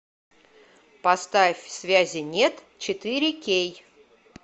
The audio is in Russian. поставь связи нет четыре кей